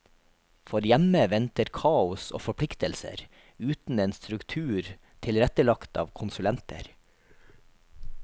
For hjemme venter kaos og forpliktelser, uten en struktur tilrettelagt av konsulenter.